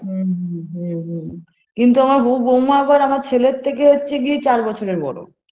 হুম হুম হুম হুম কিন্তু আমার হবু বৌমা আবার আমার ছেলের থেকে হচ্ছে গিয়ে চার বছরের বড়ো